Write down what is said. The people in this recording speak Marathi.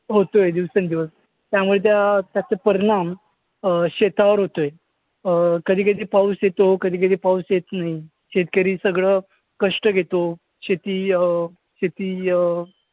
होतोय दिवसेंदिवस त्यामुळे त्यात्याचे परिणाम अं शेतावर होतोय अं कधी कधी पाऊस येतो, कधी कधी पाऊस येत नाही. शेतकरी सगळं कष्ट घेतो. शेती अं शेती अं